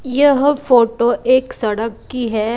यह फोटो एक सड़क की है।